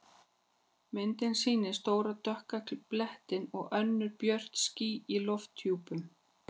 Myndin sýnir stóra dökka blettinn og önnur björt ský í lofthjúpnum.